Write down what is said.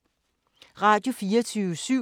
Radio24syv